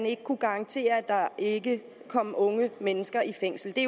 ikke kunne garanteres at der ikke kom unge mennesker i fængsel det